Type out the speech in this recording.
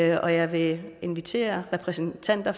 jeg vil invitere repræsentanter